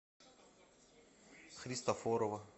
христофорова